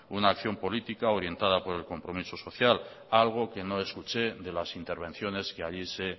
una acción política orientada por el compromiso social algo que no escuché de las intervenciones que allí se